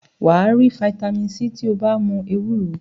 Wà á rí fataímìn C tí ó bá mu ewúro.